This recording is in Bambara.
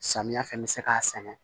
Samiya fɛ bɛ se k'a sɛnɛ